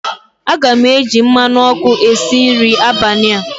Aga m eji mmanụ ọkụ a si nri abalị a